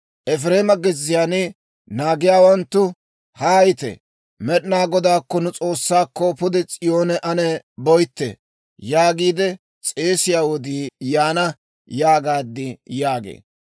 Efireema gezziyaan naagiyaawanttu, «Haayite; Med'inaa Godaakko, nu S'oossaakko, pude S'iyoone ane boytte!» yaagiide s'eesiyaa wodii yaana› yaagaad» yaagee.